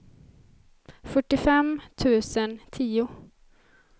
fyrtiofem tusen tio